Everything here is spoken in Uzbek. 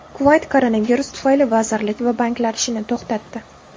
Kuvayt koronavirus tufayli vazirlik va banklar ishini to‘xtatdi.